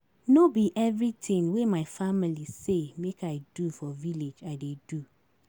No be everytin wey my family say make I do for village I dey do.